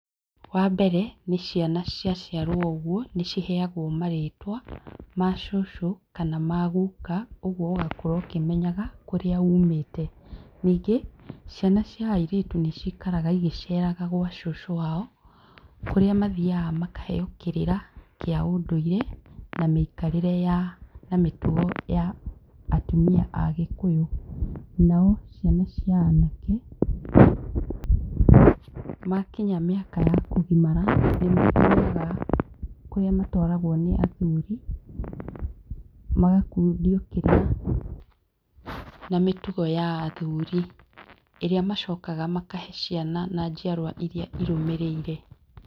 Wa mbere nĩ ciana cia ciarwo o ũguo, nĩ ciheagwo marĩtwa ma cũcũ kana ma gũka ũguo ũgakũra ũkĩmenyaga kũrĩa umĩte. Ningĩ ciana cia airĩtu nĩ cikaraga igĩceraga gwa cũcũ wao kũrĩa mathiaga makaheo kĩrĩra kĩa ũndũire na mĩikarĩre ya, na mĩtugo ya atumia a gĩkũyũ, nao ciana cia anake, makinya mĩaka ya kũgimara nĩ mathiaga kũrĩa matwaragwo nĩ athuri, magakundio kĩrĩra ma mĩtugo ya athuri ĩrĩa macokaga makahe ciana na njiarwa iria irũmĩrĩire.